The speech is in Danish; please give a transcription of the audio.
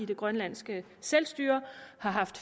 det grønlandske selvstyre havde